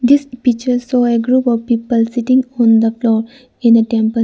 this picture show a group of people sitting on the floor in a temple.